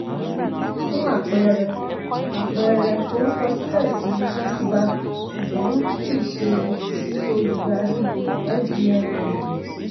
fún àpẹẹrẹ àpẹẹrẹ forúkọsílẹ̀ sí first bank ṣùgbọ́n kì í ṣe sí olùdarí fbn holdings.